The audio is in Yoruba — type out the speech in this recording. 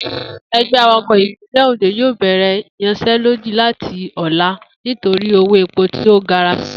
E̩gbé̩ awakò̩ ìpínlè̩ Òndò yóò bè̩rè̩ ìyansé̩lódì láti ò̩la nítorí owó epo tí ó gara si